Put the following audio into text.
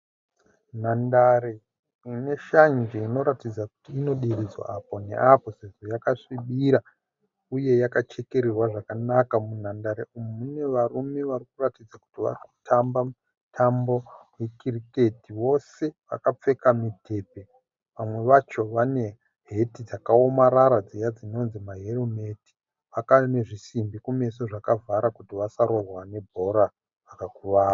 Nhandare ine shanje inoratidza kuti inodiridzwa apo neapo sezvo yakasvibira uye yakachekererwa zvakanaka. Munhandare umu mune varume vari kutamba mutambo wekiriketi. Vose vakapfeka mudhebhe vamwe vacho vane heti dziya dzakaomarara dzinonzi helmet dzine zvisimbi kumeso dzinodzivirira kuti vasarohwa nebhora kumeso vakakuvara.